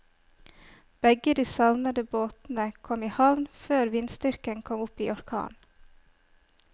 Begge de savnede båtene kom i havn før vindstyrken kom opp i orkan.